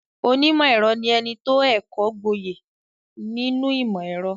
Onímọ̀-ẹ̀rọ ní ẹni tó ẹ́kọ̀ọ́ gboyè nínú ìmọ-ẹ̀rọ.